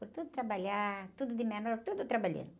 Foi tudo trabalhar, tudo de menor, tudo trabalhando.